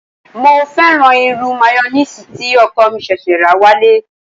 Mo fẹ́ràn irú mayoníìsì tí ọkọ̀ mi ṣẹ̀ṣẹ̀ rà wálé